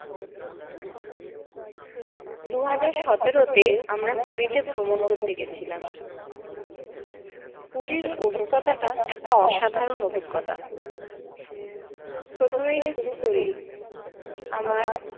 দুহাজার সতেরো তে আমরা পুরিতে ভ্রমণ করতে গেছিলাম পুরির অভিজ্ঞতা টা একটা অসাধারন অভিজ্ঞতা প্রথমে শুরু করি আমরা